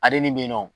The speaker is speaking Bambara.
Ale nin bɛ yen nɔ